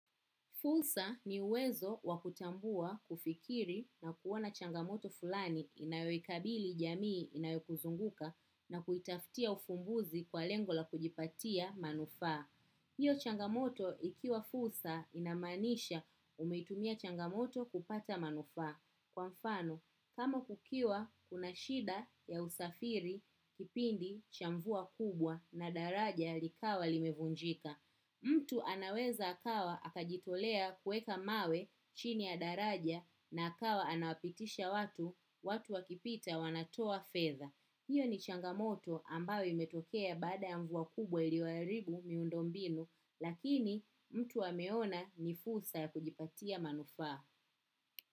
Fursa ni uwezo wa kutambua, kufikiri na kuona changamoto fulani inayoikabili jamii inayokuzunguka na kuitafutia ufumbuzi kwa lengo la kujipatia manufaa. Hiyo changamoto ikiwa fursa inamaanisha umeitumia changamoto kupata manufaa. Kwa mfano, kama kukiwa, kuna shida ya usafiri kipindi cha mvua kubwa na daraja likawa limevunjika. Mtu anaweza akawa akajitolea kuweka mawe chini ya daraja na akawa anawapitisha watu, watu wakipita wanatoa fedha. Hiyo ni changamoto ambayo imetokea baada ya mvua kubwa iliyoharibu miundo mbinu, lakini mtu ameona ni fursa ya kujipatia manufaa.